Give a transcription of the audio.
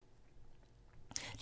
DR2